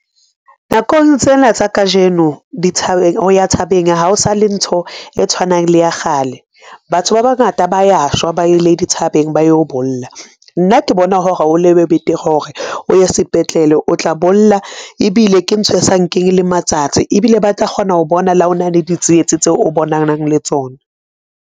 Nakong tsena tsa kajeno ho ya thabeng ha o sa le ntho e tshwanang le ya kgale. Batho ba bangata ba ya shwa, ba ile dithabeng ba yo bolla. Nna ke bona hore betere hore o ye sepetlele, o tla bolla ebile ke ntho e sa nkeng le matsatsi ebile ba tla kgona ho bona le ha o na le ditsietsi tseo o bonang le tsona.